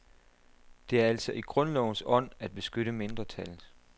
Det er altså i grundlovens ånd at beskytte mindretal.